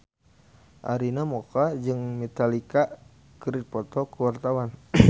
Arina Mocca jeung Metallica keur dipoto ku wartawan